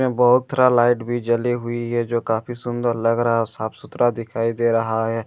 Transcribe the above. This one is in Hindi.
इसमें बहोत तरह लाइट भी जली हुई है जो काफी सुंदर लग रहा है व साफ सुथरा दिखाई दे रहा है।